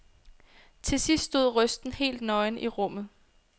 Til sidst stod røsten helt nøgen i rummet.